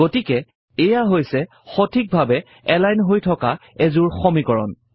গতিকে এইয়া হৈছে সঠিকভাৱে এলাইন হৈ থকা এযোৰ সমীকৰণ